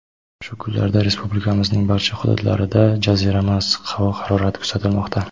"shu kunlarda Respublikamizning barcha hududlarida jazirama issiq havo harorati kuzatilmoqda".